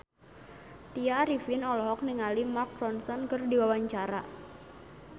Tya Arifin olohok ningali Mark Ronson keur diwawancara